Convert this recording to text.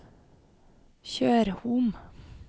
Tjørhom